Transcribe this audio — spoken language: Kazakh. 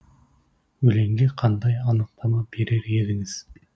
өлеңге қандай анықтама берер едіңіз